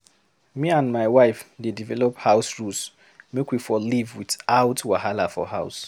Me and my wife dey develop house rules make we for live without wahala for house.